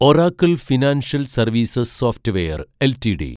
Oracle financial services software LTD